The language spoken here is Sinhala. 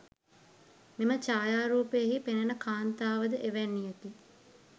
මෙම ඡායාරූපයෙහි පෙනෙන කාන්තාව ද එවැන්නියකි.